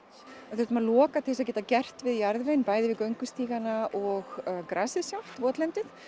við þurftum að loka til að geta gert við jarðveginn bæði göngustígana og grasið sjálft votlendið